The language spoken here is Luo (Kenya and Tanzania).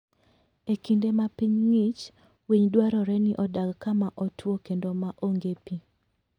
E kinde ma piny ng'ich, winy dwarore ni odag kama otwo kendo ma onge pi.